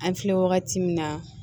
An filɛ wagati min na